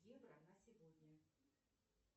евро на сегодня